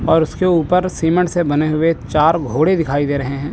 और उसके ऊपर सीमेंट से बने हुए चार घोड़े दिखाई दे रहे हैं।